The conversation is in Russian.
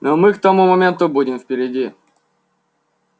но мы к тому моменту будем впереди